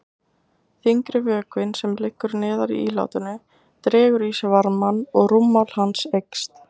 Þyngri vökvinn, sem liggur neðar í ílátinu, dregur í sig varmann og rúmmál hans eykst.